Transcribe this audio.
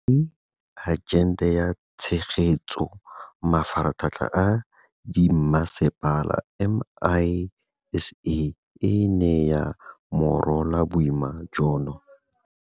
Mme, Agente ya Tshegetso go Mafaratlhatlha a Dimmasepala, MISA, e ne ya morola boima jono.